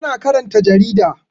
Tana karanta jarida